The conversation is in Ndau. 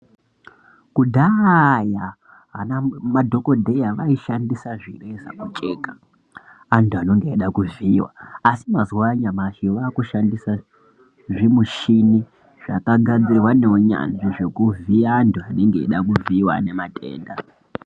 Kudhaaya ana madhokodheya vaishandisa zvireza kucheka antu ananege eida kuvhiiwa asi mazuwa anyamashi vakushandisa zvimushini zvakagadzirwa neunyanzi zvekuvhiya antu vanange eida kuvhiiwa ane matenda.